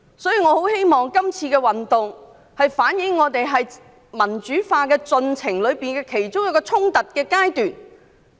因此，我很希望這次運動反映的，是民主化進程中其中一個衝突的階段。